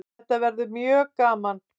Þetta verður mjög gaman